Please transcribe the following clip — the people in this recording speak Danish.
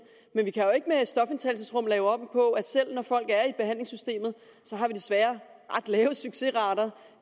men vi kan jo ikke med stofindtagelsesrum lave om på selv når folk er i behandlingssystemet har vi desværre ret lave succesrater